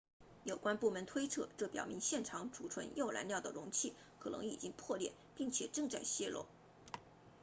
有关部门推测这表明现场储存铀燃料的容器可能已经破裂并且正在泄漏